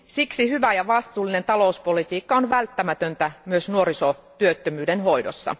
Siksi hyvä ja vastuullinen talouspolitiikka on välttämätöntä myös nuorisotyöttömyyden hoidossa.